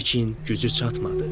Lakin gücü çatmadı.